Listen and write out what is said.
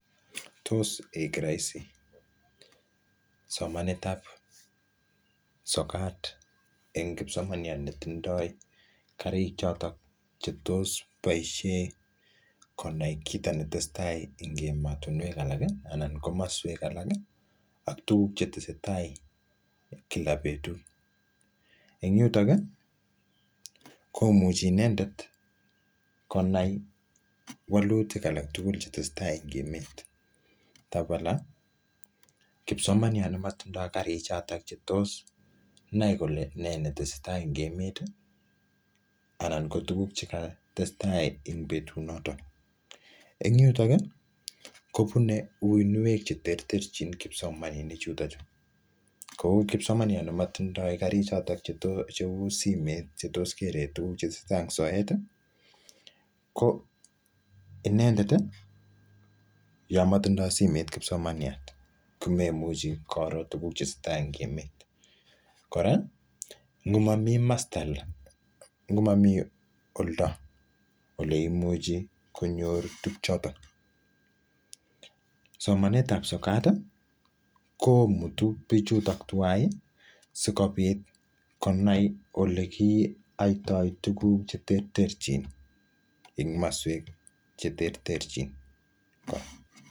Tos ek rahisi somanet ap sokat eng kipsomaniat ne tindoi karik chotok che tos boisie konai kito netesetai eng emotunwek alak, anan komaswek alak, ak tuguk che tesetai kila betut. Eng yutok, komuchi inendet konai walutik alak tugul che tesetai eng emet. Tabala, kipsomaniat ne matindoi karik chotok che tos nai kole ne netesetai eng emet, anan ko tuguk cheka testai eng betut notok. Eng yutok, kobune uwinuek che terterchin kipsomaninik chutochu. Kou kipsomaniat ne matindoi karik cheu simet che tos kere tuguk che tesetai eng soet, ko inendet, yamatindoi simet kipsomaniat, komemuchi koro tuguk che tesetai eng emet. Kora, ngo mami masta le, ngo mamii ulda ole imuchi konyor tuguk chotok. Somanet ap sokat, komutu bichutok tuwai, sikopit konai ole kiatoi tuguk che terterchin eng maswek che terterchin